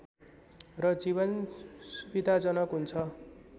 र जीवन सुविधाजनक हुन्छ